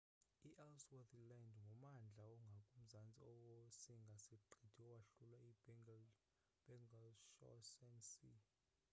i-ellsworth land ngummandla ongakumzantsi wosinga-siqithi owahlulwa yi-bellingshuasen sea